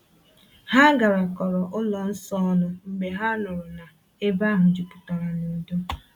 Ha garakọrọ ụlọ nsọ ọnụ mgbe ha nụrụ na ebe ahụ juputara n’udo.